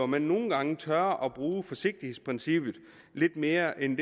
man nogle gange tør bruge forsigtighedsprincippet lidt mere end